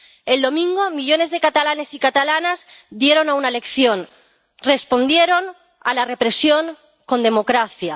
El domingo, millones de catalanes y catalanas dieron una lección, respondieron a la represión con democracia.